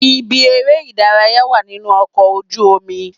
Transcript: Ibi eré ìdárayá wà nínú ọkọ̀ ojú omi.